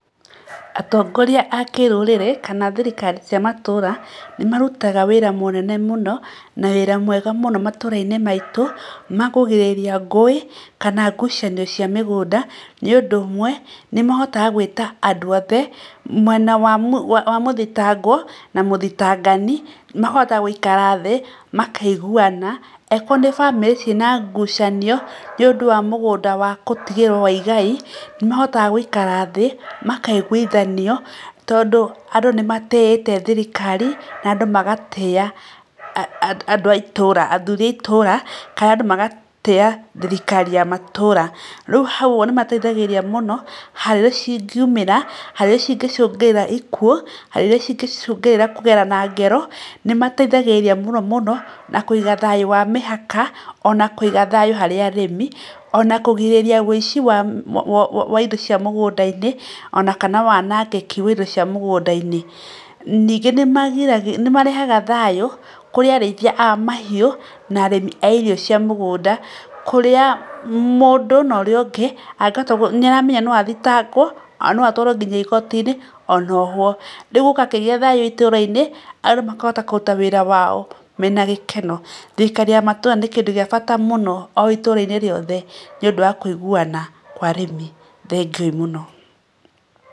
Atongoria a kĩrũrĩrĩ kana thirikari cia matũra nĩ marũtaga wĩra mũnene mũno na wĩra mwega mũno matũrainĩ maitũ makũgĩrĩrĩria ngũĩ kana gũcanio cia mĩgũnda, nĩ ũndũ ũmwe nĩ mahotaga gwĩta andũ othe mwena wa mũthitagwo na mũthitangani makahota gũikara thĩ makaigũana angĩkorwo nĩ bamĩrĩ ciĩna ngũcanio nĩ ũndũ wa mũgũnda wa gũtigĩrwo wa igai nĩ mahotaga gũikara thĩ makaigũithanio tondũ andũ nĩ matĩite thirikari na andũ magatĩa athuri a itũra kana andũ magatĩa thirikari ya matũra ,rĩu hau nĩ mateithagĩrĩrĩa mũno haro irĩa ingĩumĩra haro irĩa ingĩcungĩrĩra ĩkuo haro iria ingĩcongĩrĩra kũgerana ngero ,nĩ mateithagĩrĩrĩa mũno mũno na kũiga thayu wa mĩhaka ona kũiga thayũ wa mĩhaka ona kũiga thayũ harĩ arĩmi ona kũgĩrĩrĩria wĩici wa indo cia mũgũnda-inĩ ona kana wanagĩki wa indo cia mugunda-inĩ ningĩ nĩ marehaga thayũ kũrĩ arĩithia a mahiũ na arĩmi a irio cia mũgũnda kũrĩa mũndũ na ũrĩa ũngĩ nĩ arametha no athitagwo na no atwarwo nginya igotinĩ ona ohwo. Rĩu gũgakĩgĩa thayu itũra-inĩ andũ makahota kũruta wĩra wao mena gĩkeno, thirikari ya matũra nĩ kĩndũ gĩa bata mũno o itũra-inĩ rĩothe nĩ ũndũ wa kũigũana kwa arimi, thengio mũno.